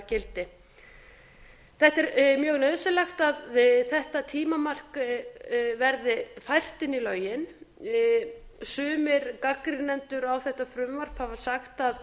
gildi það er mjög nauðsynlegt að þetta tímamark verði fært inn í lögin sumir gagnrýnendur á þetta frumvarp hafa sagt að